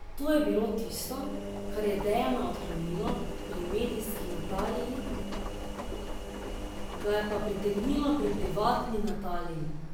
To je bilo tudi tisto, kar je Dejana odklonilo pri medijski Nataliji, ga je pa pritegnilo pri privatni Nataliji.